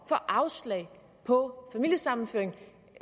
får afslag på familiesammenføring